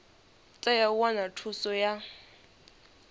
tea u wana thuso ya